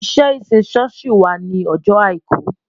Iṣẹ́ ìsìn ṣọ́ọ̀ṣì wà ní ọjọ́ Àìkú